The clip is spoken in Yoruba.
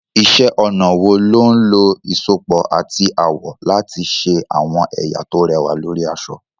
Iṣẹ́ ọnà wo ló ń lo ìsopọ̀ àti àwọ̀ láti ṣe àwọn ẹ̀yà tó rẹwà lórí aṣọ?